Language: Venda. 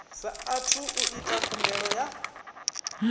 saathu u ita khumbelo ya